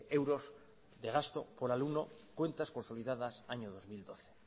euros de gasto por alumno cuentas consolidadas año dos mil doce